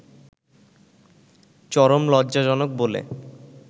চরম লজ্জাজনক বলে